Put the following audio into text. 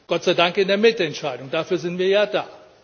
Gott sei Dank in der Mitentscheidung, dafür sind wir ja da.